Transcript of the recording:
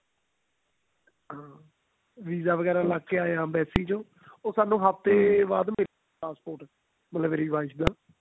ਹਾਂ visa ਵਗੇਰਾ ਲੱਗ ਕੇ ਆ ਜਾਂਦਾ embassy ਚੋਂ ਉਹ ਮਤਲਬ ਹਫਤੇ ਬਾਅਦ ਮਿਲਿਆ ਮੇਰੀ wife ਦਾ